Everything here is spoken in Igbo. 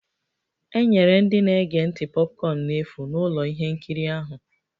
E nyere ndị na-ege ntị popcorn n'efu n'ụlọ ihe nkiri ahụ